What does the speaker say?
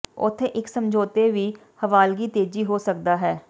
ਉੱਥੇ ਇਕ ਸਮਝੌਤੇ ਹੀ ਹਵਾਲਗੀ ਤੇਜ਼ੀ ਹੋ ਸਕਦਾ ਹੈ